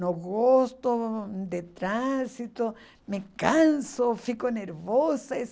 Não gosto de trânsito, me canso, fico nervosa.